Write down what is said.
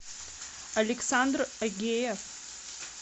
александр агеев